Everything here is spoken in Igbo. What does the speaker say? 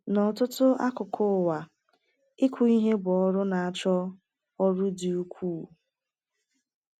N’ọtụtụ akụkụ ụwa, ịkụ ihe bụ ọrụ na-achọ ọrụ dị ukwuu.